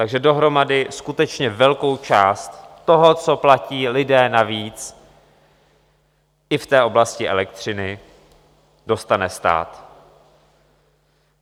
Takže dohromady skutečně velkou část toho, co platí lidé navíc i v té oblasti elektřiny, dostane stát.